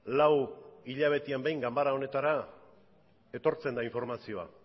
lau hilabetean behin ganbara honetara etortzen da informazioa